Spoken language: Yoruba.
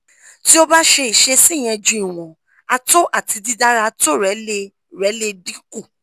ti o ba se isesi yen ju iwon ato ati didara ato re le re le dinku